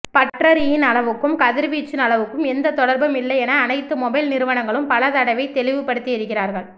பற்றரியின் அளவுக்கும் கதிர்வீச்சின் அளவுக்கும் எந்த தொடர்பும் இல்லை என அனைத்து மொபைல் நிறுவனங்களும் பல தடவை தெளிவுப்படுத்தியிருக்கிறார்கள்